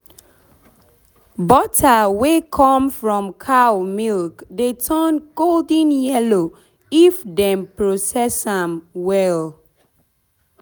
butter wey come from cow milk dey turn golden yellow if dem process am well.